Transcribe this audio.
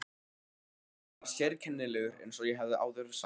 Björgvin var sérkennilegur eins og ég hef áður sagt.